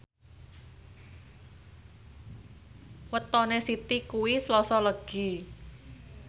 wetone Siti kuwi Selasa Legi